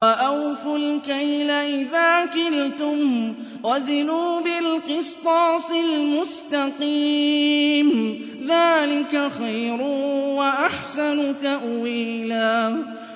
وَأَوْفُوا الْكَيْلَ إِذَا كِلْتُمْ وَزِنُوا بِالْقِسْطَاسِ الْمُسْتَقِيمِ ۚ ذَٰلِكَ خَيْرٌ وَأَحْسَنُ تَأْوِيلًا